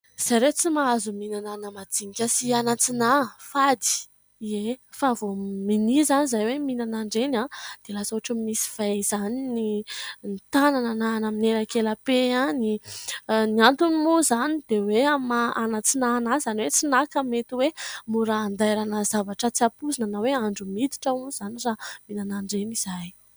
zay re tsy mahazo mihinana ana-majinika sy anantsinahy :fady, fa vao minia izany izahay mihinana ireny izahay dia lasa ohatra misy vay izany ny tanana na amin'ny elakelape any ;ny antony moa izany dia hoe amin'ny maha anantsinahy azy izany hoe tsy nahy ka mety hoe mora handairana zavatra tsy ampoizina na hoe andro miditra moa izany raha mihinana an'ireny izahay